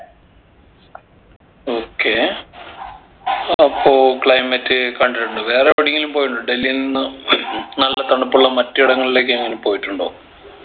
okay അപ്പൊ climate കണ്ടിട്ടുണ്ട് വേറെ എവിടെങ്കിലും പോയിട്ടുണ്ടോ ഡൽഹിയിൽ നിന്ന് നല്ല തണുപ്പുള്ള മറ്റു ഇടങ്ങളിലേക്കെങ്ങാനും പോയിട്ടുണ്ടോ